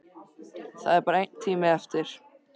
Það er bara einn tími eftir.